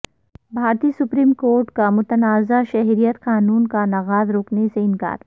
بھارتی supreme court کا متنازع شہریت قانون کا نفاذ روکنے سے انکار